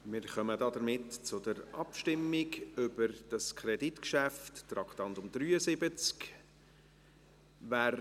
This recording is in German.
Wir kommen damit zur Abstimmung über dieses Kreditgeschäft, Traktandum 73.